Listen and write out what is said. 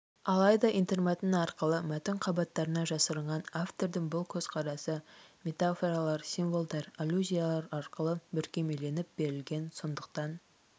алайда интермәтін арқылы мәтін қабаттарына жасырынған автордың бұл көзқарасы метафоралар символдар аллюзиялар арқылы бүркемеленіп берілген сондықтан